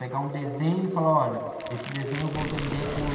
Pegar um desenho e falar, olha, esse desenho eu vou vender por...